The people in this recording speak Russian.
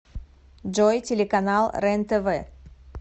джой телеканал рентв